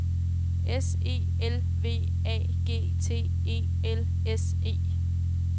S E L V A G T E L S E